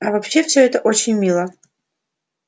а вообще все это очень мило